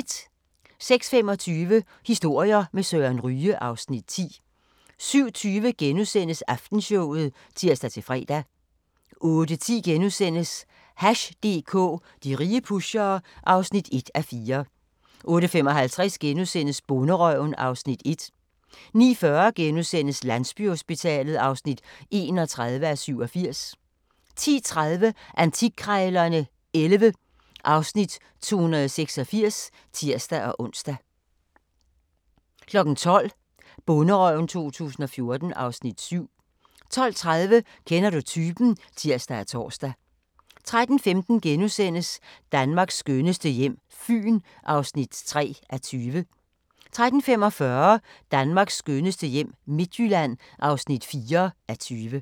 06:25: Historier med Søren Ryge (Afs. 10) 07:20: Aftenshowet *(tir-fre) 08:10: Hash DK - de rige pushere (1:4)* 08:55: Bonderøven (Afs. 1)* 09:40: Landsbyhospitalet (31:87)* 10:30: Antikkrejlerne XI (Afs. 286)(tir-ons) 12:00: Bonderøven 2014 (Afs. 7) 12:30: Kender du typen? (tir og tor) 13:15: Danmarks skønneste hjem – Fyn (3:20)* 13:45: Danmarks skønneste hjem - Midtjylland (4:20)